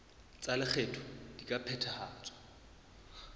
tsa lekgetho di ka phethahatswa